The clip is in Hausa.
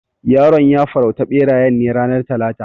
Yaron ya farauta berayen ne ranar talata.